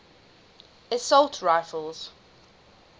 assault rifles